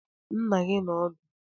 Nna gi odi ndu?